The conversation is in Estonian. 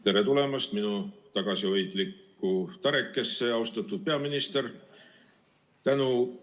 Tere tulemast minu tagasihoidlikku tarekesse, austatud peaminister!